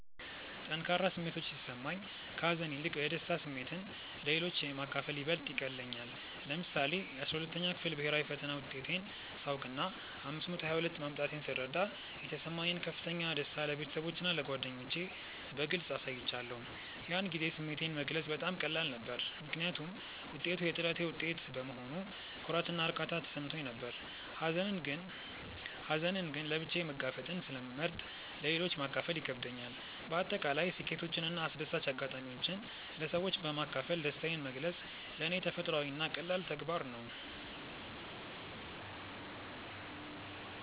ጠንካራ ስሜቶች ሲሰማኝ፣ ከሀዘን ይልቅ የደስታ ስሜትን ለሌሎች ማካፈል ይበልጥ ይቀልለኛል። ለምሳሌ፣ የ12ኛ ክፍል ብሄራዊ ፈተና ውጤቴን ሳውቅና 522 ማምጣቴን ስረዳ የተሰማኝን ከፍተኛ ደስታ ለቤተሰቦቼና ለጓደኞቼ በግልጽ አሳይቻለሁ። ያን ጊዜ ስሜቴን መግለጽ በጣም ቀላል ነበር፤ ምክንያቱም ውጤቱ የጥረቴ ውጤት በመሆኑ ኩራትና እርካታ ተሰምቶኝ ነበር። ሀዘንን ግን ለብቻዬ መጋፈጥን ስለመርጥ ለሌሎች ማካፈሉ ይከብደኛል። በአጠቃላይ ስኬቶችንና አስደሳች አጋጣሚዎችን ለሰዎች በማካፈል ደስታዬን መግለጽ ለኔ ተፈጥሯዊና ቀላል ተግባር ነው።